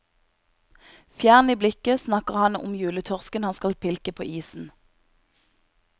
Fjern i blikket snakker han om juletorsken han skal pilke på isen.